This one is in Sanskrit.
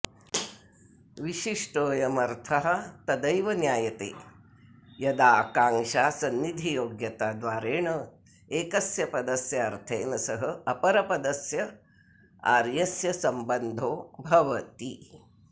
विशिष्टोऽयमर्थः तदैव ज्ञायते यदा आकाङ्क्षासन्निधियोग्यताद्वारेण एकस्य् पदस्य अर्थेन सह अपरपदस्यार्यस्य सम्बन्धो भवति